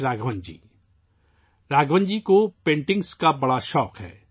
راگھون جی کو پینٹنگ کا شوق ہے